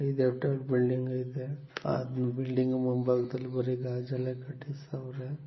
E ದೆಫ್ಟ್ ಅಲ್ಲಿ building ಐತೆ ಹಾ ಬಿಲ್ಡಿಂಗ್ ಮುಂಭಾಗದಲ್ಲಿ ಬರೀ ಗಾಜಲ್ಲೆ ಕಟ್ಟಿಸವ್ರೆ .